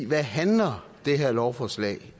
hvad handler det her lovforslag